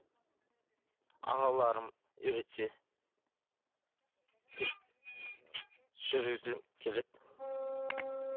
ағаларым үйретсе мхм жүргізгім келеді